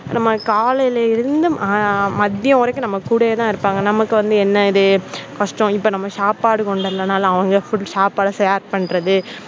நம்ம காலையில இருந்து மதிய வரைக்கும் நம்ம கூடவே தான் இருப்பாங்க. நமக்கு வந்து என்னது கஷ்டம் இப்போ வந்து சாப்பாடு கொண்டு வரலைன்னா அவங்க food சாப்பாடு share பண்றது,